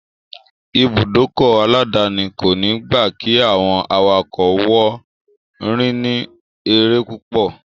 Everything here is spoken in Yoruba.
Ìbùdókọ̀ aláàdáni kòní gba kí àwọn awakọ̀ wọn rìn ní eré púpọ̀.